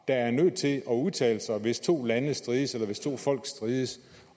der er nødt til at udtale sig hvis to lande strides eller hvis to folk strides